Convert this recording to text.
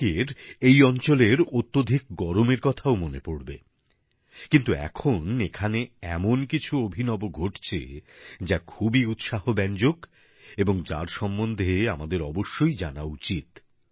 অনেকের এই অঞ্চলের অত্যধিক গরমের কথাও মনে পড়বে কিন্তু এখন এখানে এমন কিছু অভিনব ঘটছে যা খুবই উৎসাহ ব্যঞ্জক এবং যার সম্বন্ধে আমাদের অবশ্যই জানা উচিৎ